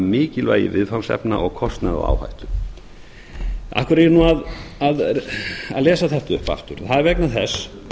mikilvægi viðfangsefna og kostnaði og áhættu af hverju er ég nú að lesa þetta upp aftur það er vegna þess